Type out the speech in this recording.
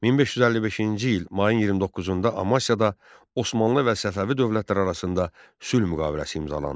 1555-ci il mayın 29-da Amasyada Osmanlı və Səfəvi dövlətləri arasında sülh müqaviləsi imzalandı.